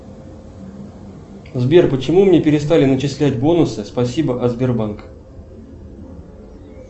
сбер почему мне перестали начислять бонусы спасибо от сбербанка